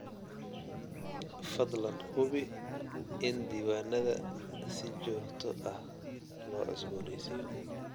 Fadlan hubi in diiwaannada si joogto ah loo cusboonaysiiyo.